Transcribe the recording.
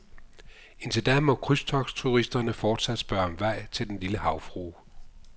Indtil da må krydstogtturisterne fortsat spørge om vej til den lille havfrue.